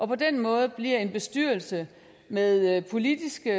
på den måde bliver en bestyrelse med politiske